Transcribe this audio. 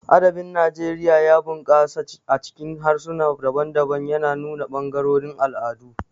Adabin Najeriya ya bunƙasa a cikin harsuna daban-daban, yana nuna ɓangarorin al'adu.